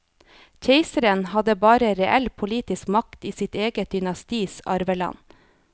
Keiseren hadde bare reell politisk makt i sitt eget dynastis arveland.